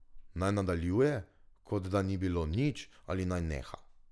Naj nadaljuje, kot da ni bilo nič, ali naj neha?